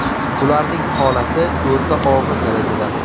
Ularning holati o‘rta og‘ir darajada.